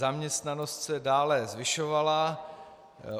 Zaměstnanost se dále zvyšovala.